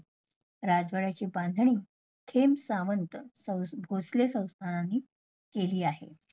राजवाड्याची बांधणे खेम सावंत भोसले संस्थानानी केली आहे.